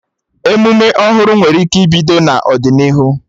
Emume ọhụrụ nwere ike ibido n'ọdịnihu